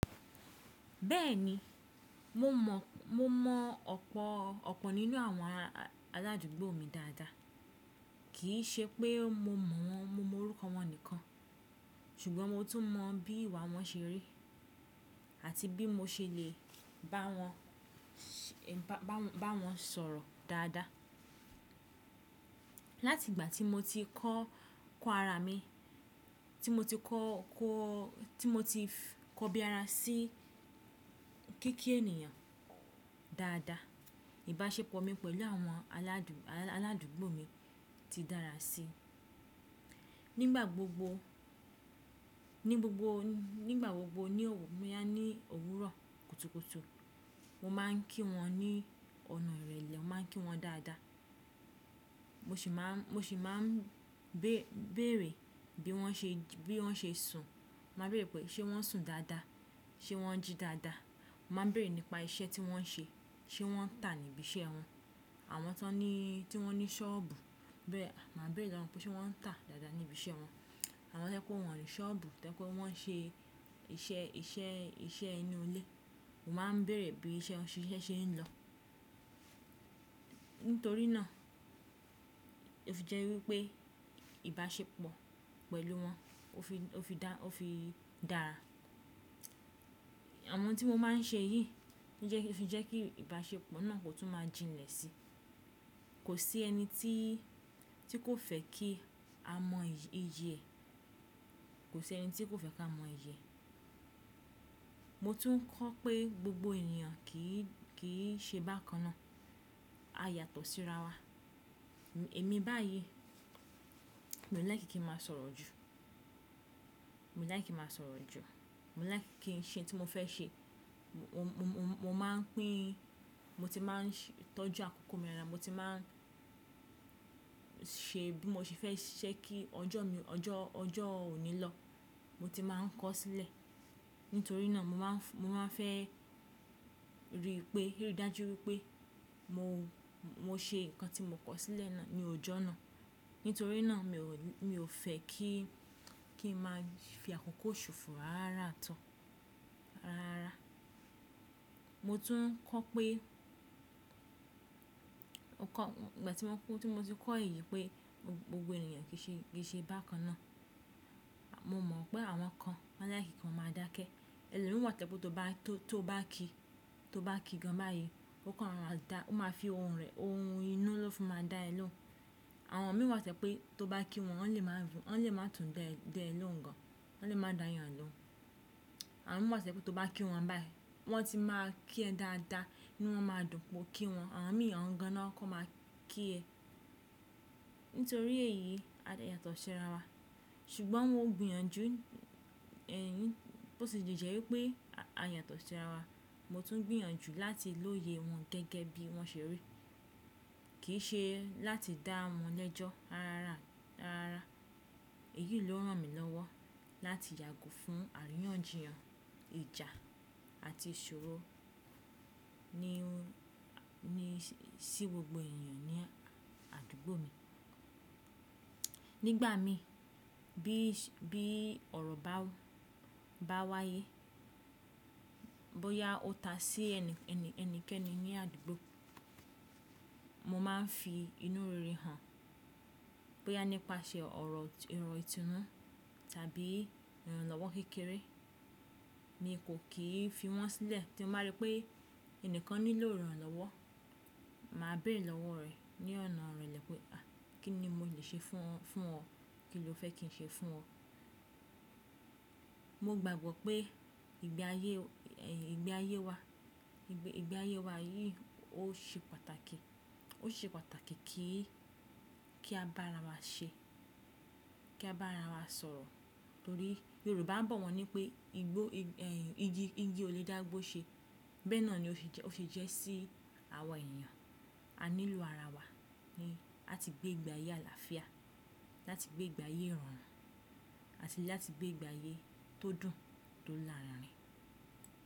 Bẹ́ẹ̀ni, mo mọ̀ ọ̀pọ̀ nínú àwọn aládùúgbò mi dáadáa, kì í ṣe pé mo mọ orúkọ wọn nìkan, ṣùgbọ́n mo tún mọ bí ìwà wọn ṣe rí àti bí mo ṣe lè bá wọn sọ̀rọ̀ dáadáa. Láti ìgbà tí mo ti kọ, ko ara mi bí ara sí kí kí ènìyàn dáadáa, ìbáṣepọ̀ mi pẹ̀lú àwọn aládùúgbò mi ti dára sí. Nígbà gbogbo ní òwúrọ̀ kùtùkùtù, mo máa ń kí wọn ní ọ̀nà ìrẹ̀lẹ̀, mo máa ń kí wọn dáadáa. Mo si maa Mo sì máa ń bèèrè bí wọ́n ṣe sùn, máa ń bèèrè pé ṣé wọ́n sùn dáadáa, ṣé wọ́n jí dáadáa. Mo máa ń bèèrè nípa iṣẹ́ tí wọ́n ń ṣe, ṣé wọ́n ń tà níbi iṣẹ́ wọn. Àwọn tí wọ́n ní sọ́ọ̀bù, màá béèrè lọ́wọ́ wọn pé ṣé wọ́n ń tà dáadáa ní ibi iṣẹ́ wọn. Àwọn tẹ́kọ́ wọ́n ní sọ́ọ̀bù, tẹ́kọ́ wọ́n ń ṣe iṣẹ́ inú ilé, mo máa ń bèèrè bí iṣẹ́ ṣe ń lọ. Nítorí náà, ó fi jẹ́ wípé ìbáṣepọ̀ pẹ̀lú wọn ó fi dára. Awọ̀n tí mo máa ń ṣe yìí fi jẹ́ kí ìbáṣepọ̀ náà kò tún máa jinlẹ̀ sí. Kò sí ẹni tí kò fẹ́ kí a mọ iyi e. Mo tún kọ̀ pé gbogbo ènìyàn kì í ṣe bákan náà. A yàtọ̀ sí ara wa. Èmi báyìí, mi ò lai kí n máa sọ̀rọ̀ jù, mi ò lai ki n máa sòrò ju. Mo lai kí n ṣe ohun tí mo fẹ́ ṣe. Mo ti máa ń tọ́jú àkókò mi rẹra, mo ti máa ń ṣe bí mo ṣe fẹ́ ṣẹ́ kí ọjọ́ òní lọ, mo ti máa ń kọ sílẹ̀. Nítorí náà, mo máa fẹ́ rí dájú wípé mo ṣe ǹkan tí mo kọ sílẹ̀ ní ọjọ́ náà. Nítorí náà, mi ò fẹ́ kí n máa fi àkókò ṣòfò rárá tán. Mo tún kọ̀ pé nígbà tí mo ti kọ èyí pé gbogbo ènìyàn kì í ṣe bákan náà, mo mọ̀ pé àwọn kan wọ́n lai kí kan máa dákẹ́. Ẹlomi wà to'pe tó bá kí gan báyìí, ó máa fi ohùn inú lọ́ fún máa dá ẹ lóhùn. Àwọn mí wà toje pé tó bá kí wọn, wọ́n lè má tùn da ẹ lóhùn gan, wọ́n lè má dà yàn lọ́hùn. Àwọn mìíràn wà toje pé tó bá kí wọn báyìí, wọ́n ti máa kí ẹ dáadáa inu wọ́n máa dùn pé o kí wọn. Àwọn mìíràn gan náà kọ́ máa kí ẹ. Nítorí èyí, a lè yàtọ̀ sí ara wa. Ṣùgbọ́n mo gbiyanju, bó ti di jẹ́ wípé a yàtọ̀ sí ara wa, mo tún gbìyànjú láti lóye wọn gẹ́gẹ́ bí wọ́n ṣe rí. Kì í ṣe láti dá wọn lẹ́jọ́ rárá. Èyí ló rán mi lọ́wọ́ láti yàgò fún àríyànjiyàn, ìjà àti ìṣòro sí gbogbo ènìyàn ní àdúgbò mi. Nígbà mí bí ọ̀rọ̀ bá wáyé, bóyá ó ta sí ẹni kẹ́ni ní àdúgbò, mo máa ń fi inú rere hàn. Bóyá nípasẹ̀ ọ̀rọ̀ ìtúnú tàbí ìrànlọ́wọ́ kékeré mi kò kì í fi wọ́n sílẹ̀. Tí mo bá rí pé ẹni kan nílò ìrànlọ́wọ́, màá béèrè lọ́wọ́ rẹ̀ ní ọ̀nà ìrẹ̀lẹ̀ pé "kí ni mo lè ṣe fún ọ? Kí lo fẹ́ kí n ṣe fún ọ?" Mo gbàgbọ́ pé ìgbé ayé wa yìí ó ṣe pàtàkì kí a bá ara wa ṣe, kí a bá ara wa sọ̀rọ̀. Nítorí Yorùbá ń bọ̀ wọ́n ní pé igi olè dágbó ṣe. Bẹ́ẹ̀ náà ni ó fi jẹ́ sí àwọn ènìyàn. A nílò ara wa láti gbé ìgbé ayé àlàáfíà, láti gbé ìgbé ayé ìrọ̀rùn àti láti gbé ìgbé ayé tó dùn tó lárinrin.